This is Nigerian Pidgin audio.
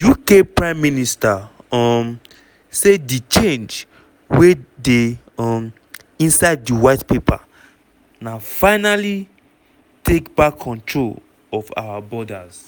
uk prime minister um say di change wey dey um inside di white paper na "finally take back control of our borders".